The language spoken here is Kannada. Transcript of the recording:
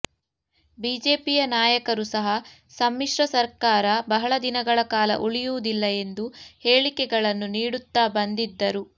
ಬಿಜೆಪಿಯ ನಾಯಕರು ಸಹ ಸಮ್ಮಿಶ್ರ ಸರ್ಕಾರ ಬಹಳ ದಿನಗಳ ಕಾಲ ಉಳಿಯುವುದಿಲ್ಲ ಎಂದು ಹೇಳಿಕೆಗಳನ್ನು ನೀಡುತ್ತಾ ಬಂದಿದ್ದರು